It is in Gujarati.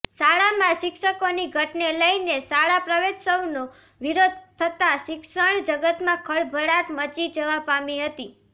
શાળામાં શિક્ષકોની ઘટને લઈને શાળા પ્રવેત્સવનો વિરોધ થતાં શિક્ષણ જગતમાં ખળભળાટ મચી જવા પામી હતી